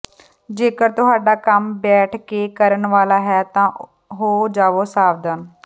ਜੇਕਰ ਤੁਹਾਡਾ ਕੰਮ ਬੈਠ ਕੇ ਕਰਨ ਵਾਲਾ ਹੈ ਤਾਂ ਹੋ ਜਾਵੋ ਸਾਵਧਾਨ